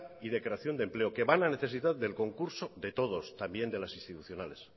y de creación de empleo que van a necesitar del concurso de todos también de las institucionales